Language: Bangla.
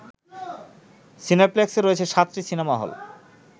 সিনেপ্লেক্সে রয়েছে সাতটি সিনেমা হল